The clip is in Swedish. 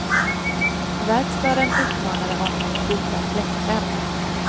Verkstaden uppmanade honom att byta fläktrem.